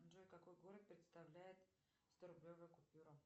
джой какой город представляет сторублевая купюра